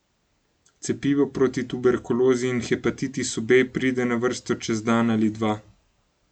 Cepivo proti tuberkulozi in hepatitisu B pride na vrsto čez dan ali dva.